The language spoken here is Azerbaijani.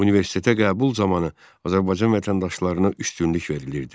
Universitetə qəbul zamanı Azərbaycan vətəndaşlarına üstünlük verilirdi.